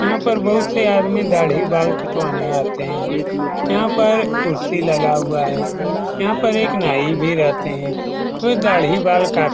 यहाँ पर बहुत से आदमी दाढ़ी-बाल कटवाने आते है। यहाँ पर कुर्सी लगा हुआ है यहाँ पर एक नाई भी रहते है। वो दाढ़ी-बाल काटते--